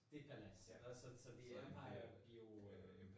Det Palads. Og så så det Empire